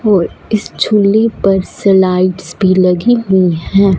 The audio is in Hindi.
और इस झूले पर स्लाइडस भी लगी हुई हैं।